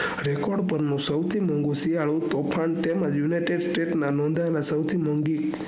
record પરનું સૌથી મોઘું શિયાળુ તોફાન તેમજ united states ના મોઘાં માં સૌથી મોઘીં